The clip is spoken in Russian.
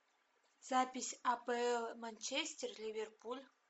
запись апл манчестер ливерпуль